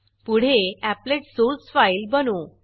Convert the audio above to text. पुढे applet source applet source file बनवू